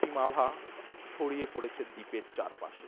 রক্তিম আভা ছড়িয়ে পড়েছে দ্বীপের চারপাশে।